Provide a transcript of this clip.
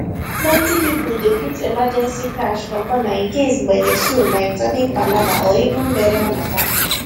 plenty people dey put emergency cash for corner in case gbege showlike sudden palava or even burial matter